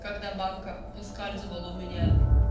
когда банка выскальзывала у меня